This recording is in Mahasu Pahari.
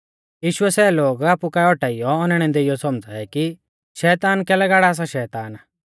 यीशुऐ सै लोग आपु काऐ औटाइयौ औनैणै देइयौ सौमझ़ाऐ कि शैताना कैलै गाड़ा सा शैतान